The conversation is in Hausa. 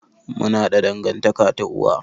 Mun haɗa dangantaƙa ta uwa.